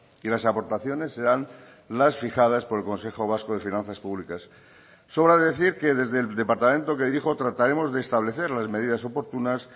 y las aportaciones serán las fijadas por el consejo vasco de finanzas públicas sobra decir que desde el departamento que dirijo trataremos de establecer las medidas oportunas